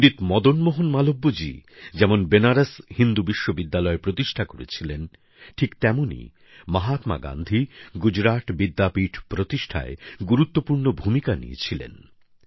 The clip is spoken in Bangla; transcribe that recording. পন্ডিত মদনমোহন মালব্যজি যেমন বেনারস হিন্দু বিশ্ববিদ্যালয় প্রতিষ্ঠা করেছিলেন ঠিক তেমনই মহাত্মা গান্ধী গুজরাট বিদ্যাপীঠ প্রতিষ্ঠায় গুরুত্বপূর্ণ ভূমিকা নিয়েছিলেন